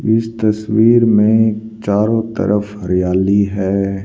इस तस्वीर में चारों तरफ हरियाली है।